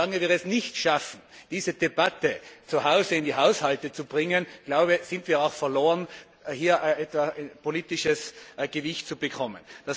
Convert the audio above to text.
Und solange wir es nicht schaffen, diese Debatte zu Hause in die Haushalte zu bringen, glaube ich, sind wir auch verloren, hier politisches Gewicht zu bekommen.